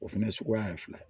O fɛnɛ suguya ye fila ye